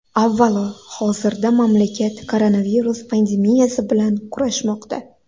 Avvalo, hozirda mamlakat koronavirus pandemiyasi bilan kurashmoqda.